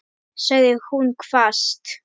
sagði hún hvasst.